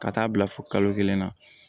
Ka taa bila fo kalo kelen na